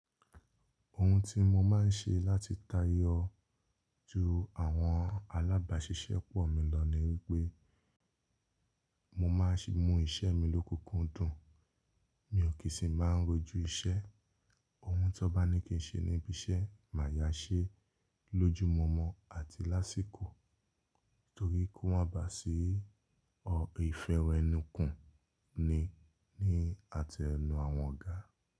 Ohun tí mo máa ń ṣe láti tayọ ju àwọn alábàáṣiṣẹ́ pọ̀ mi lọ ni wípé mo máa ń mú iṣẹ́ mi lókoókun dùn, mi ò kí sì máa ń rojú iṣẹ́, ohun tó bá ní kí ń ṣe níbi iṣẹ́ màá yá ṣe lójúmọmọ àti lásìkò torí kó má ba à sí ọ ìfẹ́wẹ̀ẹ́núkù ni ní àtẹnu àwọn ọ̀gá.